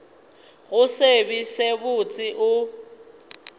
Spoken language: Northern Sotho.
go se be botse o